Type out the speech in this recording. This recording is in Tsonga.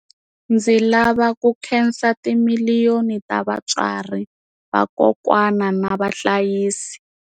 Ndzi lava ku khensa timiliyoni ta vatswari, vakokwana na vahlayisi.